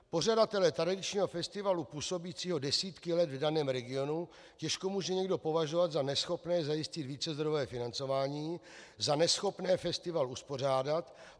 Pořadatele tradičního festivalu působícího desítky let v daném regionu těžko může někdo považovat za neschopné zajistit vícezdrojové financování, za neschopné festival uspořádat.